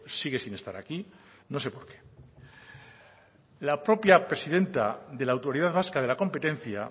sigue sin estar aquí no sé por qué la propia presidenta de la autoridad vasca de la competencia